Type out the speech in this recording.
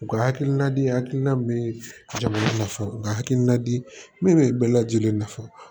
U ka hakilina di hakilila min ye jamana nafanw u ka hakilina di min bɛ lajɛlen nafa